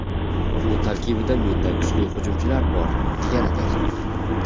Bu tarkibda mendan kuchli hujumchilar bor, deganidir.